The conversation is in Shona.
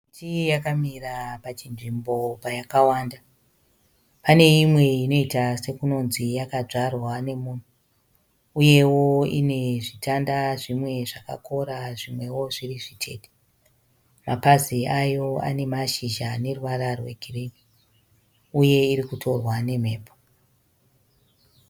Miti yakamira pachinzvimbo payakawanda. Paneimwe inoita sekunonzi yakadzwarwa nemunhu . Uyewo ine zvitanga zvimwe zvakakora zvimwewo zviri zvitete. Mapazi ayo ane mashizha aneruvara rwegirinhi, uye irikutireka nemhepo